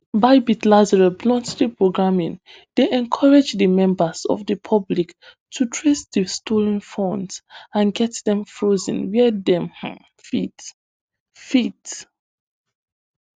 bybit lazarus bounty programme dey encourage di members of di public to trace di stolen finds and get dem frozen wia dem um fit fit